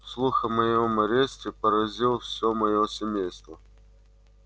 слух о моём аресте поразил всё моё семейство